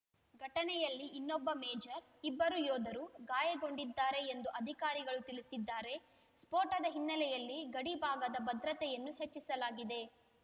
ಘಟನೆಯಲ್ಲಿ ಇನ್ನೊಬ್ಬ ಮೇಜರ್‌ ಇಬ್ಬರು ಯೋಧರು ಗಾಯಗೊಂಡಿದ್ದಾರೆ ಎಂದು ಅಧಿಕಾರಿಗಳು ತಿಳಿಸಿದ್ದಾರೆ ಸ್ಫೋಟದ ಹಿನ್ನೆಲೆಯಲ್ಲಿ ಗಡಿ ಭಾಗದ ಭದ್ರತೆಯನ್ನು ಹೆಚ್ಚಿಸಲಾಗಿದೆ